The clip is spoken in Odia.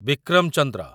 ବିକ୍ରମ ଚନ୍ଦ୍ର